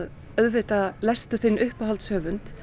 auðvitað lestu þinn uppáhalds höfund